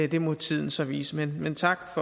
det må tiden så vise men tak